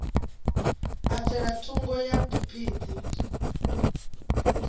a tsela thungo ya phiphiḓi